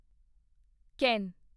ਕੇਨ